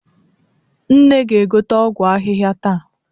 Nne ga-egote ọgwụ ahịhịa taa.